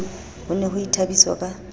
ho ne ho ithabiswa ka